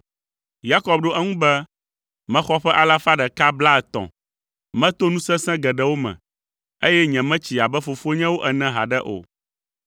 Yakob ɖo eŋu be, “Mexɔ ƒe alafa ɖeka blaetɔ̃, meto nu sesẽ geɖewo me, eye nyemetsi abe fofonyewo ene haɖe o.”